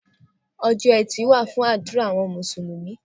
Ọjọ́ Ẹtì wà fún àdúrà àwọn Mùsùlùmí.